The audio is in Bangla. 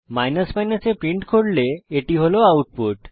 যখন আপনি a প্রিন্ট করেন এটি হল আউটপুট